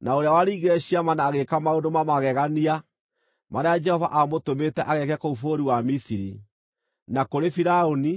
na ũrĩa waringire ciama na agĩĩka maũndũ ma magegania marĩa Jehova aamũtũmĩte ageeke kũu bũrũri wa Misiri, na kũrĩ Firaũni,